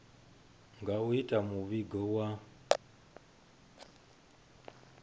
na u ita muvhigo wa